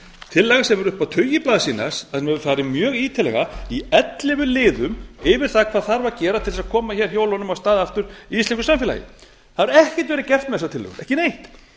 tillaga sem er upp á tugi blaðsíðna farið mjög ítarlega í ellefu liðum yfir það hvað þarf að gera til að koma hjólunum af stað aftur í íslensku samfélagi það hefur ekkert verið gert með þessa tillögu ekki neitt